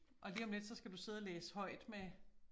Og lige om lidt så skal du sidde og læse højt med